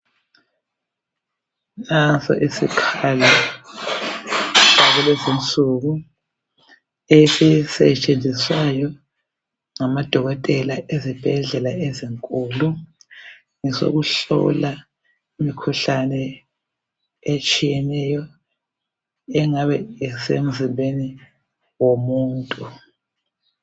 Nanso isikhali sakulezi insuku esisetshenziswayo ngamadokotela ezibhedlela ezinkulu, ngesokuhlola imikhuhlane etshiyeneyo engabe isemzimbeni womuntu